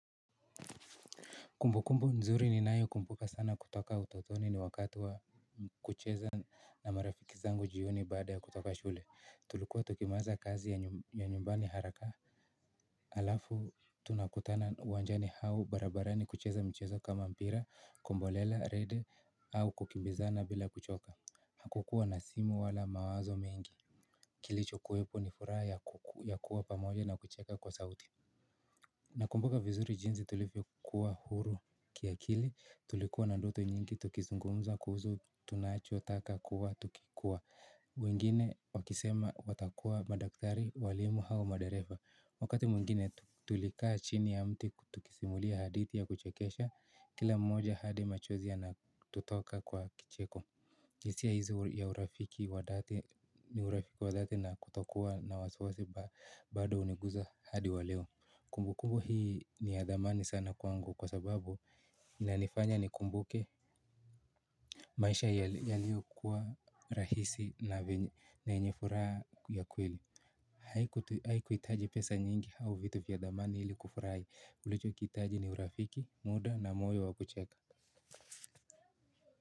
Kumbukumbu nzuri ninayoikumbuka sana kutoka utotoni ni wakati wa kucheza na marafiki zangu jioni baada ya kutoka shule tulikuwa tukimaliza kazi ya nyumbani haraka. Alafu tunakutana uwanjani au barabarani kucheza michezo kama mpira, kombolela, rede au kukimbizana bila kuchoka. Hakukua na simu wala mawazo mingi. Kilicho kuwepo ni furaha ya kuwa pamoja na kucheka kwa sauti. Na kumbuka vizuri jinsi tulivyokuwa huru kiakili, tulikua na doto nyingi, tukizungumza kuhusu, tunacho, taka, kuwa, tukikua. Mwingine wakisema watakuwa madaktari walimu au madereva. Wakati mwingine tulikaa chini ya mti, tukisimulia haditi ya kuchekesha, kila mmoja hadi machozi yana tutoka kwa kicheko hisia hizi ya urafiki wadhati ni urafiki wadhati na kutokuwa na wasiwasi bado huniguza hadi waleo. Kumbu kumbu hii ni ya dhamani sana kwangu kwa sababu ina nifanya ni kumbuke. Maisha yaliyokuwa rahisi na yenye furaha ya kweli. Haikuhitaji pesa nyingi au vitu vya dhamani ili kufurahi tulicho kihitaji ni urafiki muda na moyo wakucheka.